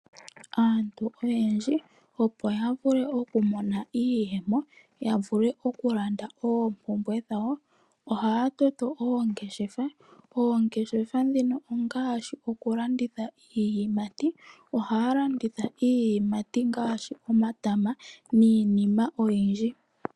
Aantu oyendji opo ya vule oku mona iiyemo, ya vule oku landa oompumbwe dhawo ohaya toto oongeshefa. Oongeshefa dhino ongaashi oku landitha iiyimati, ohaya landitha iiyimati ngaashi omatama niinima oyindji.